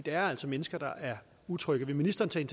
er altså mennesker der er utrygge vil ministeren tage